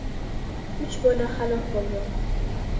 Uch bola halok bo‘lgan.